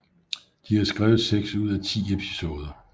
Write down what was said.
De har skrevet seks ud af ti episoder